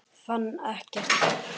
Fann ekkert til.